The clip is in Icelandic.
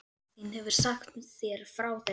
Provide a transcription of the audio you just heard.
Og mamma þín hefur sagt þér frá þessu?